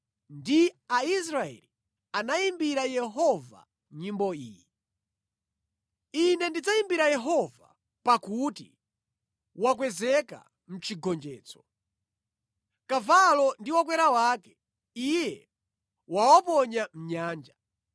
Ndipo Mose ndi Aisraeli anayimbira Yehova nyimbo iyi: “Ine ndidzayimbira Yehova pakuti wakwezeka mʼchigonjetso. Kavalo ndi wokwera wake, Iye wawaponya mʼnyanja.